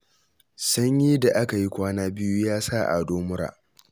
Sanyin da aka yi kwana biyu ya sa Ado mura